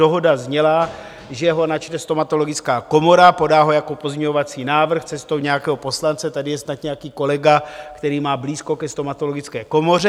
Dohoda zněla, že ho načte stomatologická komora, podá ho jako pozměňovací návrh cestou nějakého poslance, tady je snad nějaký kolega, který má blízko ke stomatologické komoře.